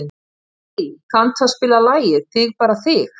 Kiddý, kanntu að spila lagið „Þig bara þig“?